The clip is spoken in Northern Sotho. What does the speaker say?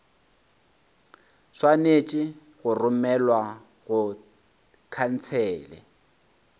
swanetše go romelwa go khansele